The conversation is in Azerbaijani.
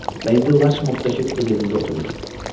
Və indi Larçmoddakı öz evində oturur.